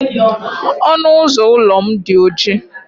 Ọnụ ụzọ ụlọ m dị oji.